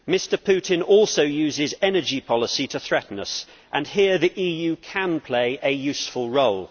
Mr Putin also uses energy policy to threaten us, and here the EU can play a useful role.